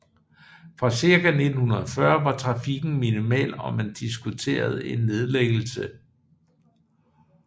Fra cirka 1940 var trafikken minimal og man diskuterede en nedlæggelse